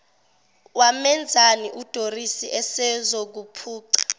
wamenzani udoris esezokuphuca